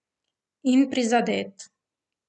In prizadet.